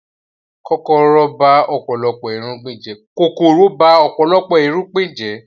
Kòkòrò ba ọ̀pọ̀lọpọ̀ irúgbìn jẹ́